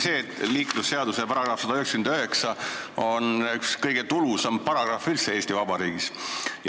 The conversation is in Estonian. Liiklusseaduse § 199 on üks kõige tulusamaid paragrahve üldse Eesti Vabariigis.